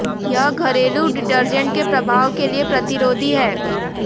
यह घरेलू डिटर्जेंट के प्रभाव के लिए प्रतिरोधी है